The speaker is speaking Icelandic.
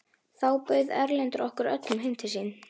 Þá bauð Erlendur okkur öllum heim til sín.